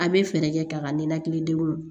An bɛ fɛɛrɛ kɛ ka ka ninakilidenw